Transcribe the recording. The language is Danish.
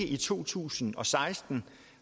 i to tusind og seksten